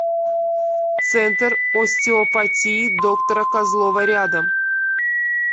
центр остеопатии доктора козлова рядом